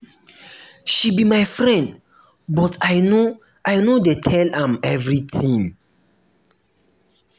she be my friend but i no i no dey tell am everything